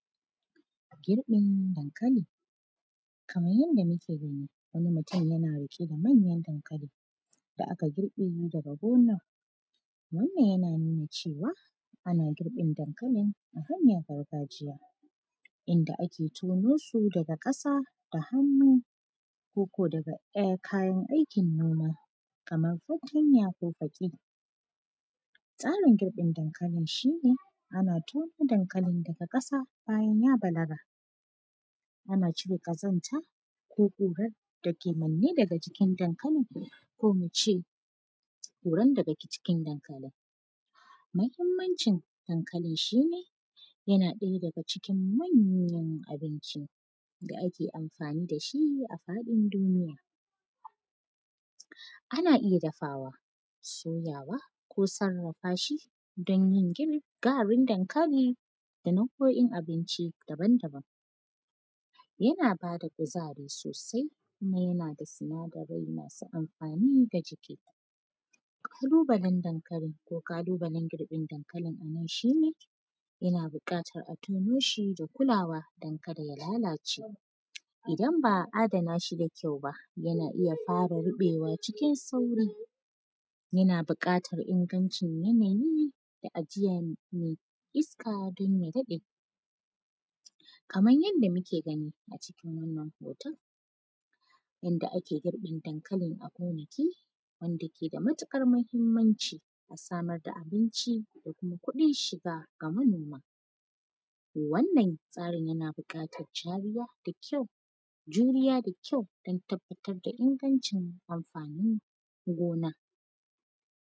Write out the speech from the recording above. Girƃin dankali. Kaman yanda muke gani, wani mutun ya riƙe da manyan dankali da aka girƃe daga gona. Wannan, yana nuna cewa, ana girƃin dankalin a hanyan gargajiya, inda ake tono su daga ƙasa da hannu koko daga eh kayan aikin noma, kamar fattanya ko faƙi. Tsarin girƃin dankalin, shi ne ana tono dankalin daga ƙasa, bayan ya balaga. Ana cire ƙazanta ko ƙurar dake manne daga jikin dankalin ko mu ce, ƙuran daga ke cikin dankalin. Mahimmancin dankalin, shi ne, yana ɗaya daga cikin manyan abinci da ake amfani da shi a faɗin duniya. Ana iya dafawa, soyawa, ko sarrafa shi don yin gir; garin dankali da nau’o’in abinci daban-daban. Yana ba da kuzari sosai kuma yana da sinadarai masu amfani ga jiki. Ƙalubalen dankali ko ƙalubalen girƃin dankalin a nan shi ne, yana buƙatar a tono shi da kulawa don kada ya lalace. Idan ba a adana shi da kyau ba, yana iya fara ziƃewa cikin sauri, yana biƙatar ingancin yanayi da ajiyan me; iska don ya daɗe. Kaman yanda muke gani a cikin wannan hoton, yanda ake girƃin dankalin a gonaki wanda ke da matiƙar mahimmanci a samar da abinci da kuma kuɗin shiga ga manoma. Wannan tsarin, yana biƙatar jariya da kyau, juriya da kyau, don tabbatad da ingancin amfanin gona.